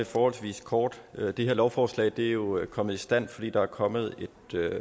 forholdsvis kort det her lovforslag er jo kommet i stand fordi der er kommet et